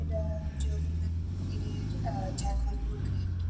এটা জগন্নাথ মন্দিরের আ চার নম্বর গেট ।